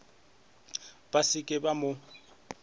ba se ke ba mo